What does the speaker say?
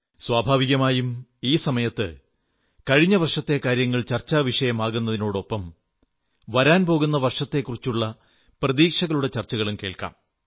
സ്വാഭാവികമായും ഈ സമയത്ത് കഴിഞ്ഞ വർഷത്തെ കാര്യങ്ങൾ ചർച്ചാവിഷയമാകുന്നതിനൊപ്പം വരാൻ പോകുന്ന വർഷത്തെക്കുറിച്ചുള്ള പ്രതീക്ഷകളുടെ ചർച്ചകളും കേൾക്കാം